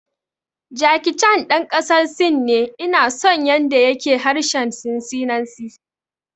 Jackie Chan ɗan ƙasar Sin ne, ina son yanda ya ke harshen sinanci